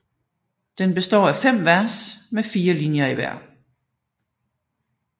Den består af 5 vers med 4 linjer i hver